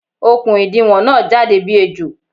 Okùn ìdiwọ̀n na jáde bí ejò